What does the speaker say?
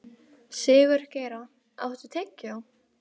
Sigurgeira, áttu tyggjó?